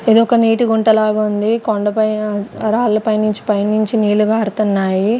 ఇది ఒక నీటి గుంట లాగ ఉంది కొండ పైన రాళ్ల పైన పైనుంచి నీళ్లు కారుతున్నాయి.